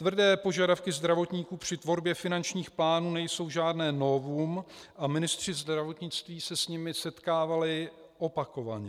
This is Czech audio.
Tvrdé požadavky zdravotníků při tvorbě finančních plánů nejsou žádné novum a ministři zdravotnictví se s nimi setkávali opakovaně.